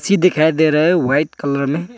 दिखाई दे रहा है व्हाइट कलर में।